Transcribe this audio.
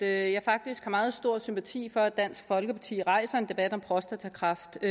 at jeg faktisk har meget stor sympati for at dansk folkeparti rejser en debat om prostatakræft